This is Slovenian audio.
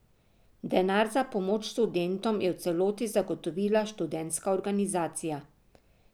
Denar za pomoč študentom je v celoti zagotovila študentska organizacija.